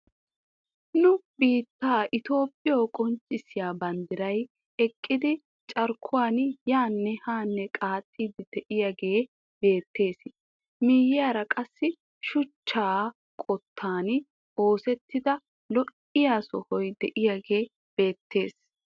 Nu biittee itoophphiyoo qonccisiyaa banddiray eqqidi carkkuwaan yaanne haa qaaxxidi de'iyaagee beettees. miyiyaara qassi shuchchaa qoottaan oosettida lo"iyaa sohoy de'iyaagee beettees.